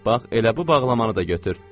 Bax, elə bu bağlamanı da götür.